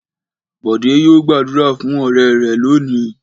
Bọ̀dé yóò gbàdúrà fún ọ̀rẹ́ rẹ̀ lónìí.